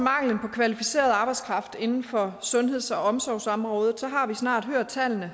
kvalificeret arbejdskraft inden for sundheds og omsorgsområdet har vi snart hørt tallene